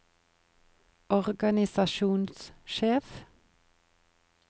organisasjonssjef